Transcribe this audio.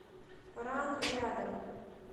ран рядом